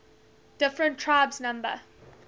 different tribes number